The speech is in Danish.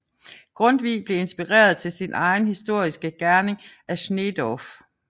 Grundtvig blev inspireret til sin egen historiske gerning af Sneedorff